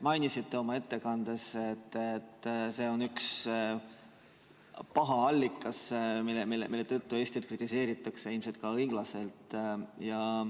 Mainisite oma ettekandes, et see on üks paha allikas, mille tõttu Eestit kritiseeritakse ja ilmselt ka õiglaselt.